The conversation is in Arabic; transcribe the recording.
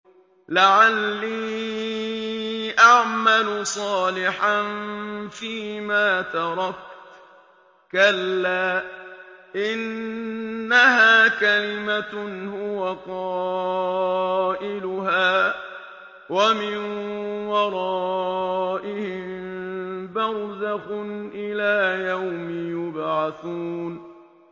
لَعَلِّي أَعْمَلُ صَالِحًا فِيمَا تَرَكْتُ ۚ كَلَّا ۚ إِنَّهَا كَلِمَةٌ هُوَ قَائِلُهَا ۖ وَمِن وَرَائِهِم بَرْزَخٌ إِلَىٰ يَوْمِ يُبْعَثُونَ